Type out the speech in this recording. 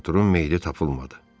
Arturun meyidi tapılmadı.